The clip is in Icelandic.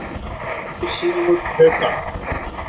Fyrsti sigur Haukanna